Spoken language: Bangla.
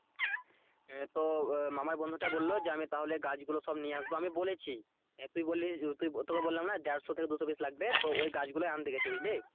হ্যাঁ তো আহ মামার বন্ধুটা বললো যে আমি তাহলে গাছ গুলো সব নিয়ে আসবো আমি বলেছি তুই বললি তুই তোকে বললাম না দেড়শো থেকে দুশো piece লাগবে তো ওই গাছ গুলোই আনতে গেছে বুঝলি?